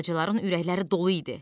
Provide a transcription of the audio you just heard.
Balacaların ürəkləri dolu idi.